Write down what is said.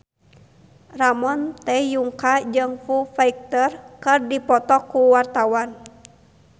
Ramon T. Yungka jeung Foo Fighter keur dipoto ku wartawan